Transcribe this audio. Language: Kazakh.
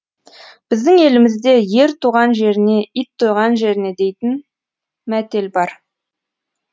біздің елімізде ер туған жеріне ит тойған жеріне дейтін мәтел бар